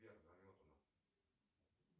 сбер заметано